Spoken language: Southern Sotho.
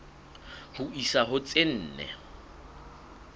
ho isa ho tse nne